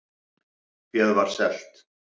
Féð var selt